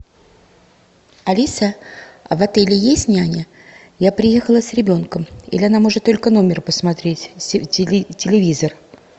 алиса а в отеле есть няня я приехала с ребенком или она может только номер посмотреть телевизор